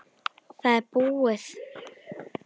Það er búið.